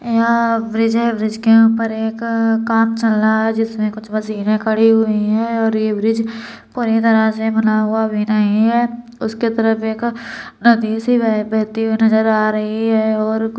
यहाँ ब्रिज है। ब्रिज के ऊपर एक काम चल रहा है जिस में कुछ मशीन खड़े हुई है और ये ब्रिज पूरी तरह से बना भी नही है उसके तरफ एक अ-नदी सी बहती हुई नजर आ रही है और कु --